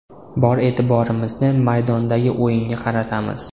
Bor e’tiborimizni maydondagi o‘yinga qaratamiz.